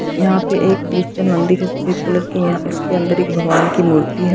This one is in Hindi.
यहां पे एक क्रिश्चन मंदिर है सफेद कलर की यहां इसके अंदर एक भगवान की मूर्ति है।